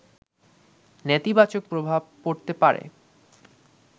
নেতিবাচক প্রভাব পড়তে পারে